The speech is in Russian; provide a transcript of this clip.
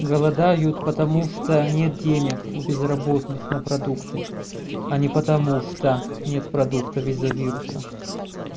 голодают потому что нет денег у безработных на продукты а не потому что нет продуктов из-за вируса